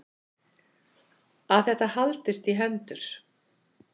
Að þetta haldist í hendur.